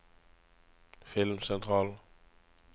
filmsentral